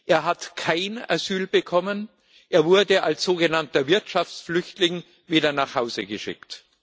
Er hat kein Asyl bekommen, er wurde als sogenannter Wirtschaftsflüchtling wieder nach Hause geschickt.